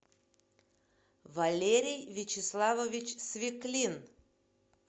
валерий вячеславович свеклин